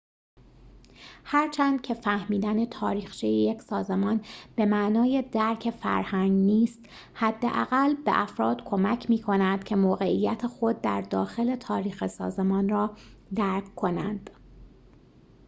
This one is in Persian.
هرچند که فهمیدن تاریخچه یک سازمان به معنای درک فرهنگ نیست حداقل به افراد کمک می کند که موقعیت خود در داخل تاریخ سازمان را درک کنند